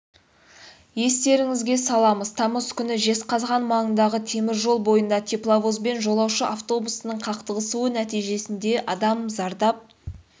естеріңізге саламыз тамыз күні жезқазған маңындағы теміржол бойында тепловоз бен жолаушы автобусының қақтығысуы нәтижесінде адам зардап